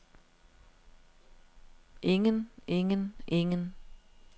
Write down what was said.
ingen ingen ingen